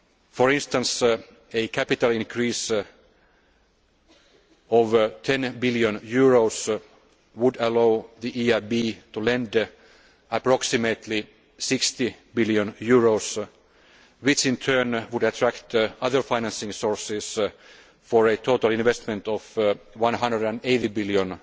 For instance, a capital increase of EUR 10 billion would allow the EIB to lend approximately EUR 60 billion, which in turn would attract other financing sources for a total investment of EUR 180 billion